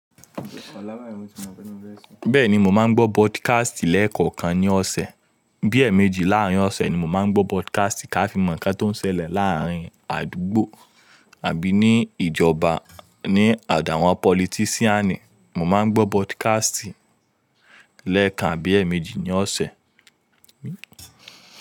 Bẹ́ẹ̀ni, mo máa ń gbọ́ podcast lẹ́ẹ̀kọ̀kan ní ọ̀sẹ̀. Bíẹ̀ méjì láàrin ọ̀sẹ̀ ni mo máa ń gbọ́ podcast ká fi mọ̀ nǹkan tó ń ṣẹlẹ̀ láàrin àdúgbò àbí ní ìjọba, ní àdàwà politisiani. Mo máa ń gbọ́ podcast lẹ́ẹ̀kan abí ẹ̀ méjì ní ọ̀sẹ̀.